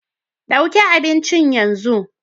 Ɗauki abincin yanzu